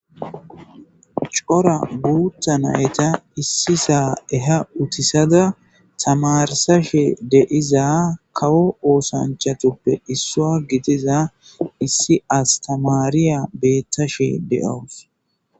Cora buutta nayta issi saa eha utisada tamarsa she deiza kawo oosanchatuppe issua gitiza issi as tamariya beettashe de'owus.